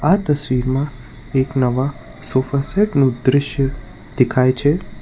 આ તસવીરમાં એક નવા સોફાસેટ નું દ્રશ્ય દેખાય છે.